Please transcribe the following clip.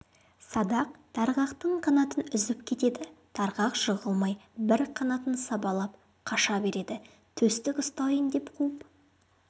садақ тарғақтың қанатын үзіп кетеді тарғақ жығылмай бір қанатын сабалап қаша береді төстік ұстайын деп қуып